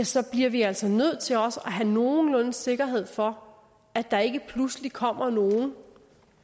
så bliver vi altså nødt til også at have nogenlunde sikkerhed for at der ikke pludselig kommer nogen